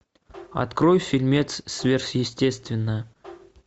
открой фильмец сверхъестественное